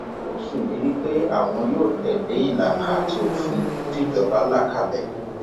ó ṣèlérí pé àwọn yóò tẹlé ìlànà àti òfin tìjọba là kalẹ